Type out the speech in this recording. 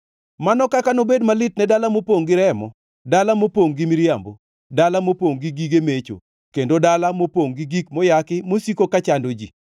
Mano kaka nobed malit ne dala mopongʼ gi remo, dala mopongʼ gi miriambo, dala mopongʼ gi gige mecho, kendo dala mopongʼ gi gik moyaki mosiko ka chando ji!